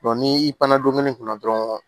ni i panne kunna dɔrɔn